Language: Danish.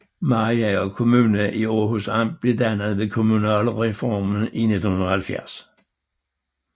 Mariager Kommune i Århus Amt blev dannet ved kommunalreformen i 1970